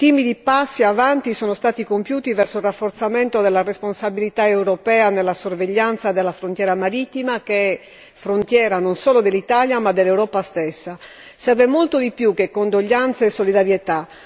Timidi passi avanti sono stati compiuti verso il rafforzamento della responsabilità europea nella sorveglianza della frontiera marittima, che è frontiera, non solo dell'Italia, ma dell'Europa stessa. Serve molto di più che condoglianze e solidarietà!